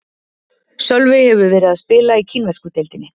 Sölvi hefur verið að spila í kínversku deildinni.